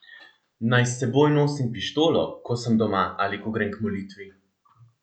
Naj s seboj nosim pištolo, ko sem doma ali ko grem k molitvi?